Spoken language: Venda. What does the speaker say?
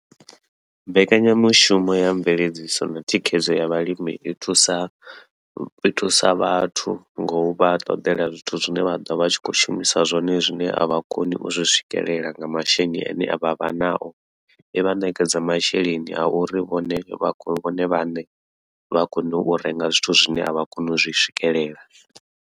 Mbekanya mushumo ya mveledziso na thikhedzo ya vhalimi.